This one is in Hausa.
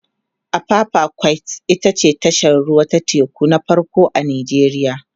apapa quays ita ce tashar ruwa ta teku na farko a nijeriya